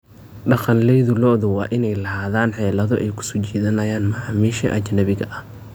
Dhaqanleyda lo'du waa inay lahaadaan xeelado ay ku soo jiidanayaan macaamiisha ajnabiga ah.